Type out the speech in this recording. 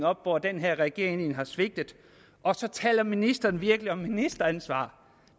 op hvor den her regering har svigtet og så taler ministeren virkelig om ministeransvar